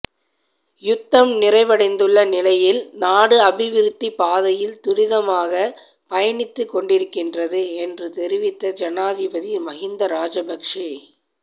யுத்தம் நிறைவடைந்துள்ள நிலையில் நாடு அபிவிருத்தி பாதையில் துரிதமாக பயணித்து கொண்டிருக்கின்றது என்று தெரிவித்த ஜனாதிபதி மஹிந்த ராஜபக்ஷ